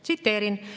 Tsiteerin: "[...